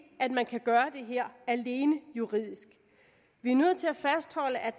at man kan gøre det her alene juridisk vi er nødt til at fastholde at